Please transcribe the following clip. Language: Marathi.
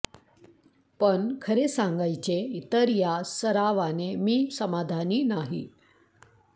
पण खरे सांगायचे तर या सरावाने मी समाधानी नाही